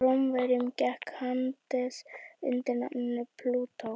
hjá rómverjum gekk hades undir nafninu plútó